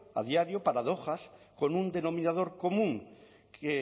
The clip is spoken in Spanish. a diario paradojas con un denominador común que